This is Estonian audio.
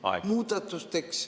Aeg!